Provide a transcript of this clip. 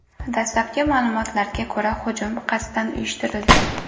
Dastlabki ma’lumotlarga ko‘ra, hujum qasddan uyushtirilgan.